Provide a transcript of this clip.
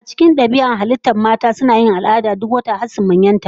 A cikin dabi'ar halittar mata, suna yin al'ada duk wata har su manyanta.